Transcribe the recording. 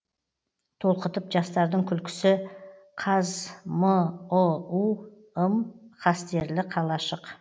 толқытып жастардың күлкісі қазмұу ым қастерлі қалашық